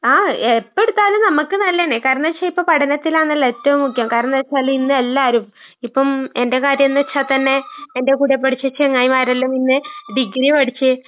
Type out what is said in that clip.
ആഹ് എപ്പെടുത്താലും നമ്മക്ക് നല്ലതന്നെ കാരണെച്ചാ ഇപ്പ പഠനത്തിലാണല്ലോ ഏറ്റോം മുഖ്യം. കാരണെന്താച്ചാല് ഇന്നെല്ലാരും ഇപ്പം എന്റെ കാര്യന്ന് വെച്ചാത്തന്നെ എന്റെ കൂടെ പഠിച്ച ചെങ്ങായിമാരെല്ലാം മുന്നേ ഡിഗ്രിയാ പഠിച്ചേ.